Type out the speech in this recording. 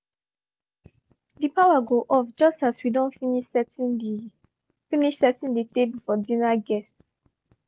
the power go off just as we don finish setting the finish setting the table for dinner guests